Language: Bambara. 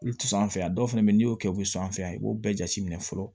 Olu ti sɔn an fɛ yan dɔw fɛnɛ be yen n'i y'o kɛ u bi sɔn an fɛ yan i b'o bɛɛ jate minɛ fɔlɔ